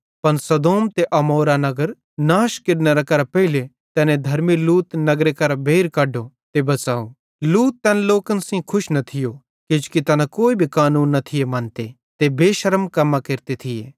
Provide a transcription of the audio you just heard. पन सदोम ते अमोरा नगरन नाश केरने करां पेइले तैने धर्मी लूत नगरे करां बेइर कढो ते बच़ाव लूत तैन लोकन सेइं खुश न थियो किजोकि तैना कोई भी कानून न थिये मन्ते ते बेशर्म कम्मां केरते थिये